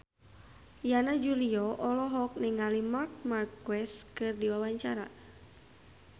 Yana Julio olohok ningali Marc Marquez keur diwawancara